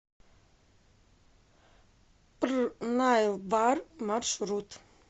пр наил бар маршрут